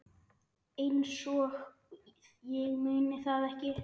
Einsog ég muni það ekki!